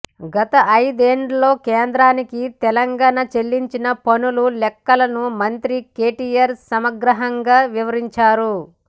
గత ఐదేండ్లలో కేంద్రానికి తెలంగాణ చెల్లించిన పన్నుల లెక్కలను మంత్రి కేటీఆర్ సమగ్రంగా వివరించారు